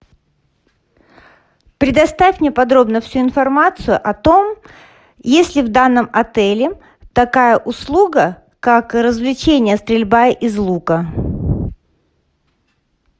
предоставь мне подробно всю информацию о том есть ли в данном отеле такая услуга как развлечение стрельба из лука